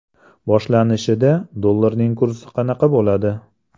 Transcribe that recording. Boshlanishida dollarning kursi qanaqa bo‘ladi?